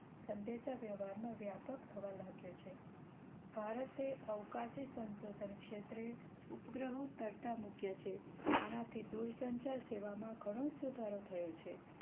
સંદેશા વ્યવહાર નો વ્યાપક થવા લાગ્યો છે ભારતે અવકાશી સંશોધન ક્ષેત્રે ઉપગ્રહો તરતા મૂક્યા છે આના થી દૂર સંચાર સેવા માં ઘણો સુધારો થયો છે.